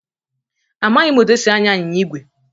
Amaghị m otú e si anya anyịnya ígwè.